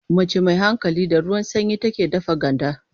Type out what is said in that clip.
Mace mai hankali, da ruwan sanyi take dafa ganda.